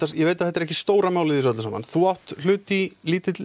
ég veit að þetta er ekki stóra málið í þessu öllu þú átt hlut í lítilli